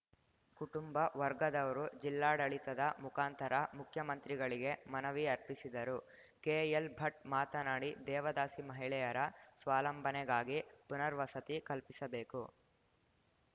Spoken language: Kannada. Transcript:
ಕುಟುಂಬ ವರ್ಗದವರು ಜಿಲ್ಲಾಡಳಿತದ ಮುಖಾಂತರ ಮುಖ್ಯಮಂತ್ರಿಗಳಿಗೆ ಮನವಿ ಅರ್ಪಿಸಿದರು ಕೆಎಲ್‌ಭಟ್‌ ಮಾತನಾಡಿ ದೇವದಾಸಿ ಮಹಿಳೆಯರ ಸ್ವಾಲಂಬನೆಗಾಗಿ ಪುನರ್ವಸತಿ ಕಲ್ಪಿಸಬೇಕು